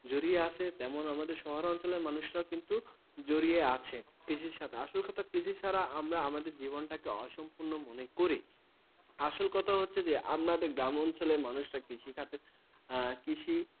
জড়িয়ে আছে, তেমন আমাদের শহরাঞ্চলের মানুষেরাও কিন্তু কৃষির সাথে জড়িয়ে আছে। আসল কথা কৃষি ছাড়া আমরা আমাদের জীবনটাকে অসম্পূর্ণ মনে করি। আসল কথা হচ্ছে যে আমাদের গ্রাম অঞ্চলের মানুষেরা কৃষিখাতে